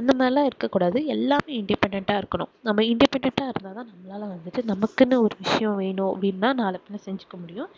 அந்த மாதிரி எல்லாம் இருக்க கூடாது எல்லாமே independent ஆ இருக்கணும் நம்ம independent ஆ இருந்தா தான் நம்மளால வந்து நமக்குன்னு ஒரு விஷயம் வேணும் அப்படின்னா நாளைப்பின்ன செஞ்சுக்க முடியும்